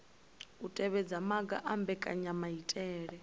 u tevhedza maga a mbekanyamaitele